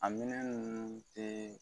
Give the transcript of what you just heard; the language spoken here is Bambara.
A minɛn ninnu tɛ